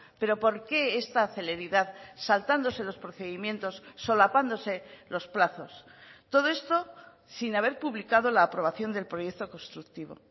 pero por qué esta celeridad saltándose los procedimientos solapándose los plazos todo esto sin haber publicado la aprobación del proyecto constructivo